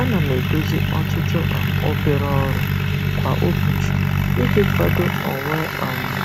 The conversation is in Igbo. Ana m edozi ọtụtụ um obere ọrụ kwa ụbọchị iji kwado onwe um m